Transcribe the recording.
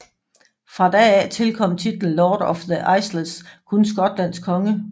Fra da af tilkom titlen Lord of the Isles kun Skotlands konge